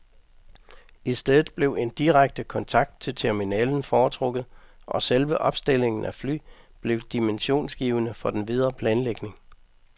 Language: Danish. I stedet blev en direkte kontakt til terminalen foretrukket og selve opstillingen af fly blev dimensionsgivende for den videre planlægning.